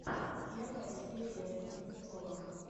первая серия кузнецова